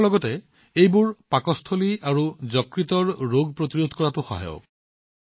ইয়াৰ লগতে সেইবোৰ পাকস্থলী আৰু যকৃতৰ ৰোগ প্ৰতিৰোধ কৰাত সহায়ক হয়